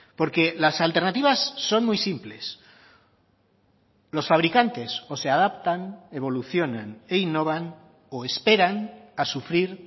porque las alternativas son muy simples los fabricantes o se adaptan evolucionan e innovan o esperan a sufrir